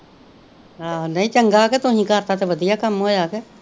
ਆਹੋ ਨਹੀਂ ਚੰਗਾ ਕੇ ਤੁਹੀ ਕਰਤਾ ਤੇ ਵਧੀਆ ਕੰਮ ਹੋਇਆ ਕੇ।